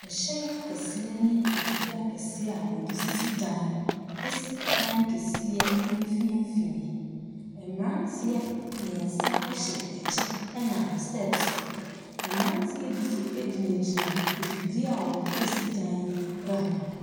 Ahyɛn akɛseɛ ne afidie akɛseɛ a wɔde sisi dan si dan kɛseɛ mfimfini. Mmeranteɛ mmeɛnsa hyɛ kyɛ nam steps so. Mmeranteɛ bi nso gyinagyina afidie a wɔde wɔde si dan no ho.